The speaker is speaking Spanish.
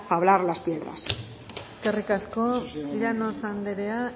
fablar las piedras eskerrik asko llanos anderea